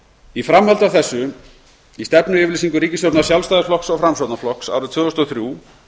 í framhaldi af þessu í stefnuyfirlýsingu ríkisstjórnar sjálfstæðisflokks og framsóknarflokks að tvö þúsund og þrjú